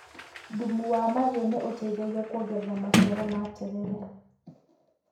Thumu wa mahĩu nĩ ũteithagia kuongerera maciaro ma terere.